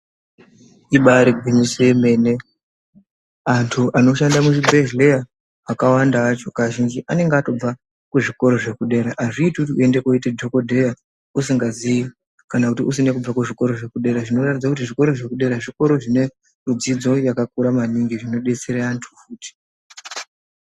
Ibaari gwinyiso yemene antu anoshanda muzvibhehleya akawanda acho kazhinji anenge atobva kuzvikoro zvekudera. Hazviiti kuti uende kooite dhogodheya usingazii kana kuti usine kubve kuzvikoro zvekudera. Zvinoratidza kuti zvikoro zvekudera zvikoro zvinedzidzo yakakura maningi, zvinodetsera antu futi.